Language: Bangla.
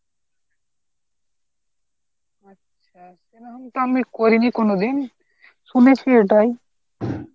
আমি করিনি কোনোদিন, শুনেছি এটাই